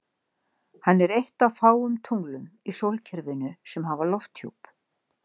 Hann er eitt af fáum tunglum í sólkerfinu sem hafa lofthjúp.